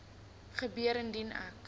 gebeur indien ek